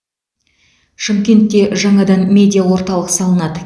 шымкентте жаңадан медиа орталық салынады